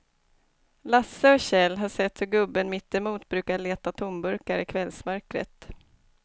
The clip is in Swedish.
Lasse och Kjell har sett hur gubben mittemot brukar leta tomburkar i kvällsmörkret.